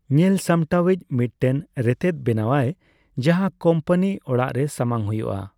ᱧᱮᱞᱥᱟᱢᱴᱟᱣᱤᱡ ᱢᱤᱫᱴᱮᱱ ᱨᱮᱛᱮᱫ ᱵᱮᱱᱟᱣᱟᱭ, ᱡᱟᱦᱟᱸ ᱠᱳᱢᱯᱟᱱᱤ ᱚᱲᱟᱜ ᱨᱮ ᱥᱟᱢᱟᱝ ᱦᱩᱭᱩᱜᱼᱟ ᱾